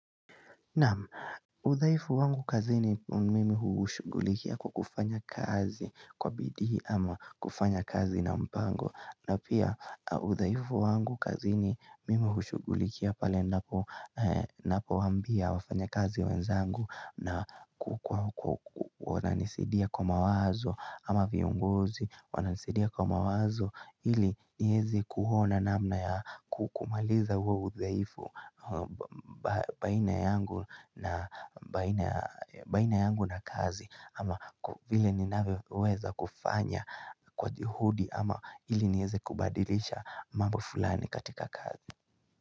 Naam, udhaifu wangu kazini mimi ushugulikia kwa kufanya kazi kwa bidii ama kufanya kazi na mpango. Na pia udhaifu wangu kazi mili ushugulikia pale napo wambia wafanya kazi wenzangu na kukua wananisidia kwa mawazo ama viongozi wananisidia kwa mawazo ili niweze kuona namna ya kukumaliza uwa uzaifu baina yangu na kazi ama vile ninavyo weza kufanya kwa juhudi ama ili niweze kubadilisha mambo fulani katika kazi.